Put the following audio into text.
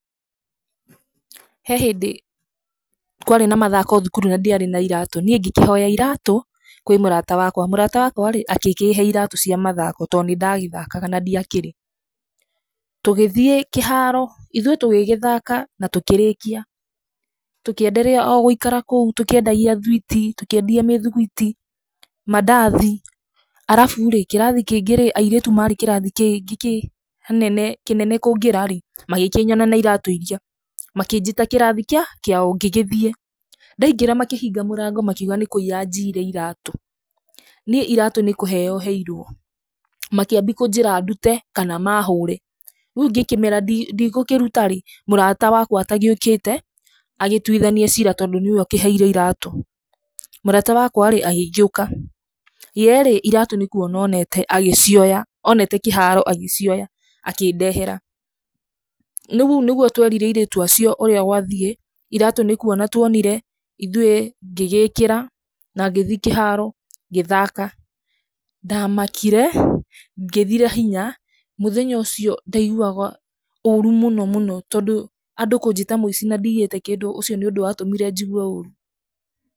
He hĩndĩ kwarĩ na mathako thukuru na ndiarĩ na iratũ, niĩ ngĩkĩhoya iratũ kwĩ mũrata wakwa, mũrata wakwa agĩkĩhe iratũ cia mathako tondũ nĩ ndagĩthakaga na ndiakĩrĩ. Tũgĩthiĩ kĩharo ithuĩ tũgĩgĩthaka na tũkĩrĩkia tũkĩenderea gũikara oro kũu tũkĩendagia thwiti, tũkĩendia mĩthugwiti, mandathi, arabu rĩ kĩrathi kĩngĩ rĩ airĩtu marĩ kĩrathi kĩnene kũngĩra rĩ, magakĩnyona na iratũ iria makanjĩta kĩrathi kĩao, ngĩgĩthiĩ, ndaingĩra makĩhinga mũrango makiuga nĩ kũiya njiire iratũ, niĩ iratũ nĩ kũheo heirwo, makĩambia kũnjĩra ndute kana mahũre, rĩu ngĩkĩmera ndigũkĩruta ĩĩ mũrata wakwa atagĩokĩte agĩtuithanie cira tondũ nĩwe ũkĩheire iratũ. Mũrata wakwa rĩ agĩgĩũka, ye rĩ iratũ nĩ kwona onete agĩcioya onete kĩharo agĩcioya akĩndehera, ũguo nĩguo twerire airĩtu acio ũrĩa gwathiĩ, iratũ nĩ kwona twonire, ithuĩ, ngĩgĩkĩra na ngĩthiĩ kĩharo ngĩthaka. Ndamakire, ngĩthira hinya, mũthenya ũcio ndaigua ũru mũno mũno tondũ andũ kũnjĩta mũici na ndiyĩte kĩndũ, ũcio nĩ ũndũ wa tũmire njigue ũũru.